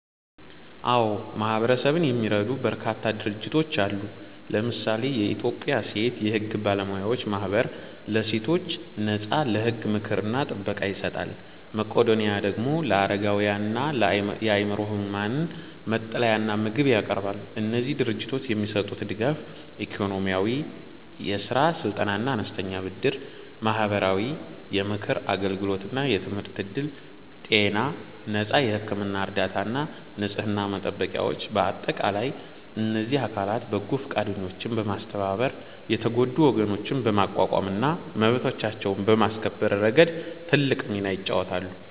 አዎ፣ ማህበረሰብን የሚረዱ በርካታ ድርጅቶች አሉ። ለምሳሌ የኢትዮጵያ ሴት የሕግ ባለሙያዎች ማኅበር ለሴቶች ነፃ የሕግ ምክርና ጥበቃ ይሰጣል። መቄዶኒያ ደግሞ ለአረጋውያንና የአእምሮ ሕሙማን መጠለያና ምግብ ያቀርባል። እነዚህ ድርጅቶች የሚሰጡት ድጋፍ፦ -ኢኮኖሚያዊ፦ የሥራ ስልጠናና አነስተኛ ብድር። -ማህበራዊ፦ የምክር አገልግሎትና የትምህርት ዕድል። -ጤና፦ ነፃ የሕክምና እርዳታና ንጽሕና መጠበቂያዎች። በአጠቃላይ እነዚህ አካላት በጎ ፈቃደኞችን በማስተባበር የተጎዱ ወገኖችን በማቋቋምና መብቶቻቸውን በማስከበር ረገድ ትልቅ ሚና ይጫወታሉ።